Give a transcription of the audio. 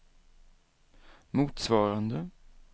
motsvarande